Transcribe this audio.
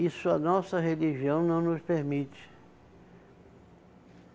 Isso a nossa religião não nos permite.